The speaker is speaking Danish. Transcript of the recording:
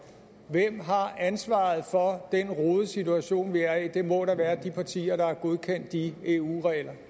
hvem har ansvaret for den rodede situation vi er i det må da være de partier der har godkendt de eu